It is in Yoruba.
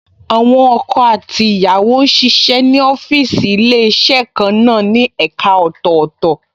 Àwọn ọkọ àti ìyàwó ń ṣiṣẹ́ ní ọ́fíìsì Ilé-iṣẹ́ kan náà ní ẹ̀ka ọ̀tọ̀ọ̀tọ̀